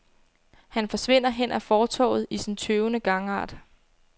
Han forsvinder hen ad fortovet i sin tøvende gangart.